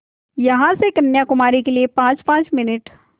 यहाँ से कन्याकुमारी के लिए पाँचपाँच मिनट